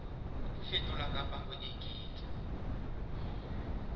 ho fetola kapa ho eketsa